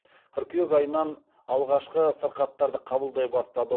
қыркүйек айынан алғашқы сырқаттарды қабылдай бастады